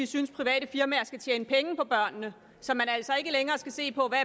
synes private firmaer skal tjene penge på børnene så der altså ikke længere skal ses på hvad